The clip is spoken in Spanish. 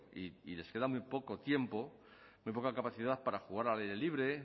y les queda muy poco tiempo muy poca capacidad para jugar al aire libre